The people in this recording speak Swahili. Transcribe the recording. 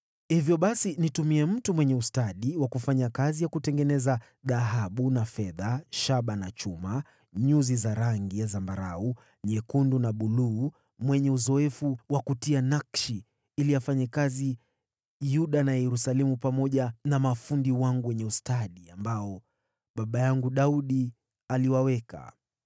“Hivyo basi nitumie mtu mwenye ustadi wa kufanya kazi ya kutengeneza dhahabu na fedha, shaba na chuma, nyuzi za rangi ya zambarau, nyekundu na buluu, mwenye uzoefu wa kutia nakshi, ili afanye kazi Yuda na Yerusalemu pamoja na mafundi wangu wenye ustadi, ambao baba yangu Daudi aliwaweka.